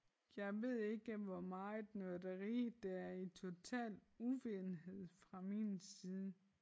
Jeg ved ikke hvor meget nørderi der er i total uvidenhed fra min side